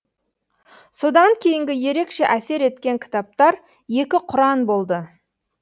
содан кейінгі ерекше әсер еткен кітаптар екі құран болды